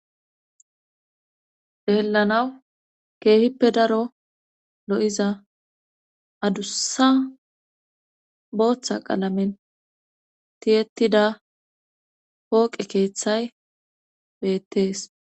deellanawu keehippe daro lo7iza adussa booththa qalamen tiyettida pooqe keeththay beettees